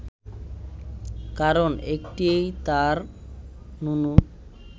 কারণ একটিই, তাঁর নুনু